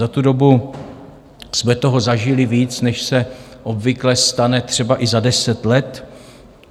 Za tu dobu jsme toho zažili víc, než se obvykle stane třeba i za deset let.